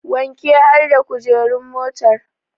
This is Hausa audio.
Wanke har da kujeru motar